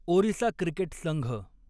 Orissa cricket Sangh